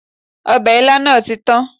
Ọbẹ̀ ilá náà tí kan